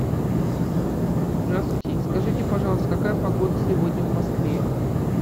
здравствуйте скажите пожалуйста какая погода сегодня в москве